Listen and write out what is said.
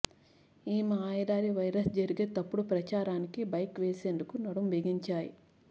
ఈ మాయాదారి వైరస్పై జరిగే తప్పుడు ప్రచారానికి బ్రేక్ వేసేందుకు నడుం బిగించాయి